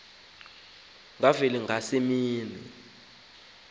kwa semini ndathi